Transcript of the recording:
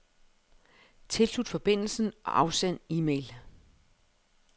Tilslut forbindelsen og afsend e-mail.